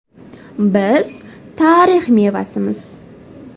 Biz tarix mevasimiz.